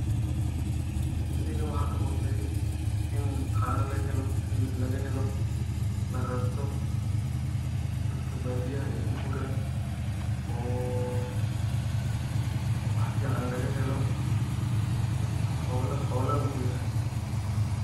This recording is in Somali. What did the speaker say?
Sheygan waxaan kamaqle in caano lagahelo, hilib lagahelo, lararto, dadka baadiyaha ay ku guuraan oo wax fican lagahelo dadka ne xolana u yahay